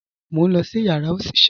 Mo n lọ sí yàrá oṣiṣẹ